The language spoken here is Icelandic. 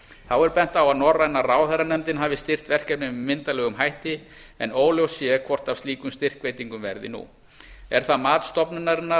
þá er bent á að norræna ráðherranefndin hafi styrkt verkefnið með myndarlegum hætti en óljóst sé hvort af slíkum styrkveitingum verði nú er það mat stofnunarinnar